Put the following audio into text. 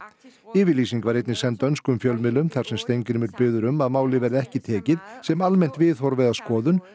yfirlýsing var einnig send dönskum fjölmiðlum þar sem Steingrímur biðji um að málið verði ekki tekið sem almennt viðhorf eða skoðun